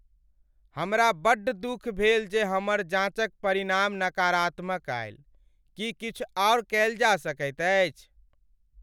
हमरा बड्ड दुख भेल जे हमर जांच क परिणाम नकारात्मक आयल। की किछु आर कयल जा सकैत अछि?